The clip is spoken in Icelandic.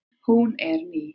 Hún er ný.